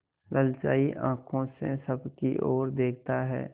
ललचाई आँखों से सबकी और देखता है